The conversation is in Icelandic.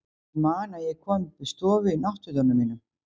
Ég man að ég kom upp í stofu í náttfötunum mínum.